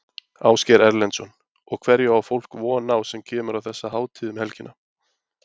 Ásgeir Erlendsson: Og hverju á fólk von á sem kemur á þessa hátíð um helgina?